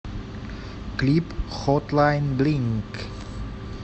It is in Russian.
клип хотлайн блинг